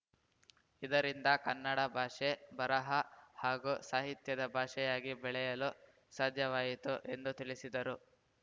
ಇದರಿಂದ ಕನ್ನಡ ಭಾಷೆ ಬರಹ ಹಾಗೂ ಸಾಹಿತ್ಯದ ಭಾಷೆಯಾಗಿ ಬೆಳೆಯಲು ಸಾಧ್ಯವಾಯಿತು ಎಂದು ತಿಳಿಸಿದರು